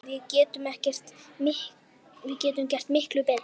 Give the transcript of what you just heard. Við getum gert miklu betur!